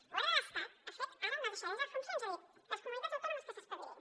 el govern de l’estat ha fet ara una deixadesa de funcions ha dit les comunitats autònomes que s’espavilin